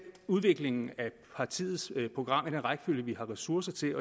udviklingen af partiets program i den rækkefølge vi har ressourcer til